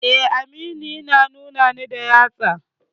Eh, Aminu yana nuna ni da yatsu.